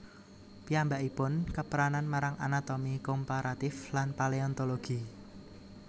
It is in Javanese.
Piyambakipun kepranan marang anatomi komparatif lan paleontologi